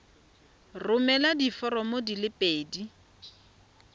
romela diforomo di le pedi